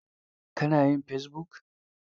Ka na yin fesibuk?